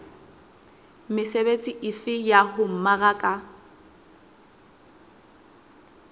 mesebetsi efe ya ho mmaraka